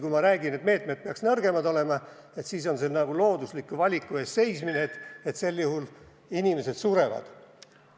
Kui ma räägin, et meetmed peaksid nõrgemad olema, siis on see nagu loodusliku valiku ees seismine, et sel juhul inimesed surevad.